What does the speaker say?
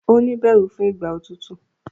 o ní bẹrù fún Ìgbà òtútù.